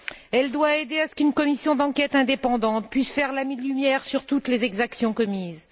Elle doit aider à ce qu'une commission d'enquête indépendante puisse faire la lumière sur toutes les exactions commises.